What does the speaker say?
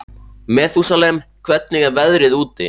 Methúsalem, hvernig er veðrið úti?